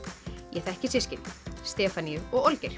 ég þekki systkini Stefaníu og